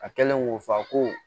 A kɛlen k'o fa ko